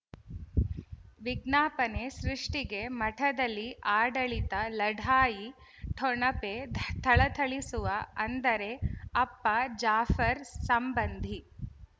ವಿಜ್ಞಾಪನೆ ಸೃಷ್ಟಿಗೆ ಮಠದಲ್ಲಿ ಆಡಳಿತ ಲಢಾಯಿ ಠೊಣಪೆ ಥಳಥಳಿಸುವ ಅಂದರೆ ಅಪ್ಪ ಜಾಫರ್ ಸಂಬಂಧಿ